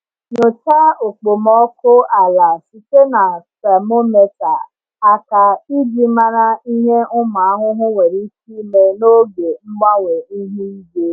Nyochaa okpomọkụ ala site na temometa aka iji mara ihe ụmụ ahụhụ nwere ike ime n’oge mgbanwe ihu igwe.